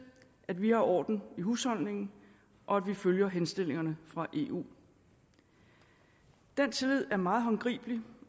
at vi har orden i husholdningen og at vi følger henstillingerne fra eu den tillid er meget håndgribelig